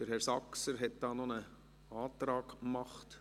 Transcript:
– Herr Saxer hat noch einen Antrag gestellt.